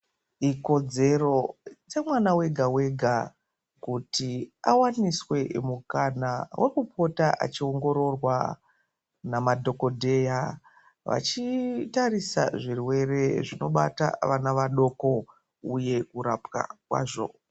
Ikodzero dze mwana wega wega kuty awaniswe mukana weku pota achi ongororwa nama dhokoteya vachi tarisa zvirwere zvino bata vana vadoko uye kurapwa kwazvo.